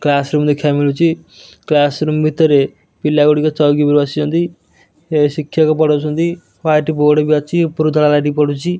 Classroom ଦେଖିବାକୁ ମିଳୁଚି classroom ଭିତରେ ପିଲା ଗୁଡ଼ିକ ଚଉକି ଉପରେ ବସିଚନ୍ତି ଏ ଶିକ୍ଷକ ପଢ଼ଉଚନ୍ତି ହ୍ୱାଇଟ୍ ବୋର୍ଡ଼ ବି ଅଛି ଉପରୁ ଧଳା ଲାଇଟ୍ ପଡ଼ୁଚି ।